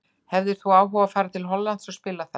Hefðir þú áhuga á að fara til Hollands og spila þar?